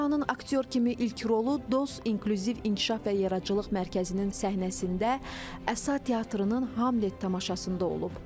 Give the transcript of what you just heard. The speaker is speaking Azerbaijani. Turanın aktyor kimi ilk rolu Dost İnkluziv İnkişaf və Yaradıcılıq Mərkəzinin səhnəsində Əsa Teatrının Hamlet tamaşasında olub.